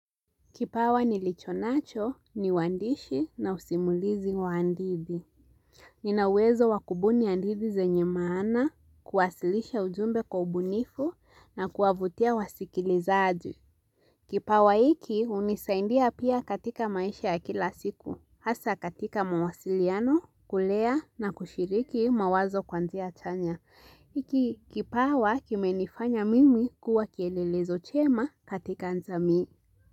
Kipawa nilicho nacho ni wandishi na usimulizi wa hadithi Nina uwezo wakubuni hadithi zenye maana, kuwasilisha ujumbe kwa ubunifu na kuwavutia wasikilizaji. Kipawa hiki hunisaindia pia katika maisha ya kila siku. Asa katika mawasiliano, kulea na kushiriki mawazo kwa njia tanya. Iki kipawa kimenifanya mimi kuwa kielelezo chema katika jamii.